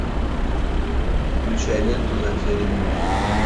включай ленту затерянный мир